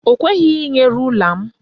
Ọ kweghị inye rula m.